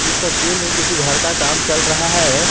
इस तस्वीर मे किसी घर का काम चल रहा है।